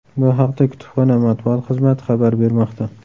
Bu haqda kutubxona matbuot xizmati xabar bermoqda .